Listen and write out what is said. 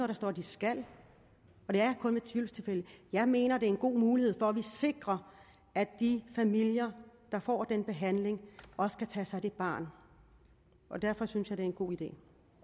der står de skal og det er kun i tvivlstilfælde jeg mener det er en god mulighed for at sikre at de familier der får den behandling også kan tage sig af det barn og derfor synes jeg det er en god idé